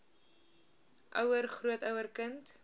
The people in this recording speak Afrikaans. ouer grootouer kind